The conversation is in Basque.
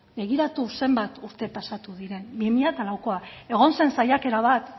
begiratu zenbat urte pasatu diren bi mila laukoa da egon zen saiakera bat